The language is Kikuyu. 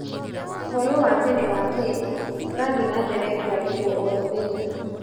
Ũhoro wa tene wa Kenya ũrathiĩ na mbere kũandĩkwo o mũthenya.